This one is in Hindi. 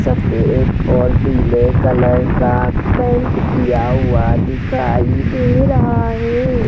सफेद और पीले कलर का पेंट किया हुआ दिखाई दे रहा है।